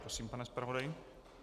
Prosím, pane zpravodaji.